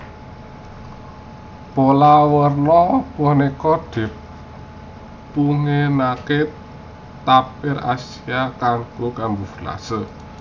Pola werni punika dipunginakaken tapir Asia kanggé kamuflase